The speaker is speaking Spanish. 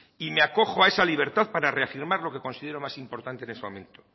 y me acojo a esa libertad para reafirmar lo que considero más importante en este momento